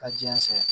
Ka jiyɛn sɔrɔ